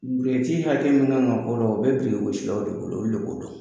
hakɛ min kan ka bɔrɔ, o bɛ finigosilanw le bolo, olu lo b'o don.